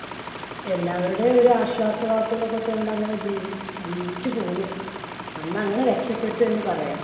എല്ലാവരുടെയും ഒരു ആശ്വാസവാക്കുകൾ ഒക്കെ കൊണ്ട് അങ്ങനെ ജീവി~ ജീവിച്ചു പോന്നു. അന്ന് അങ്ങനെ രക്ഷപ്പെട്ടു എന്ന് പറയാം.